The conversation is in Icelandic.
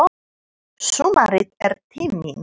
Sumarið er tíminn.